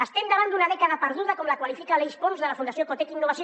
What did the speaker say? estem davant d’una dècada perduda com la qualifica aleix pons de la fundació cotec innovació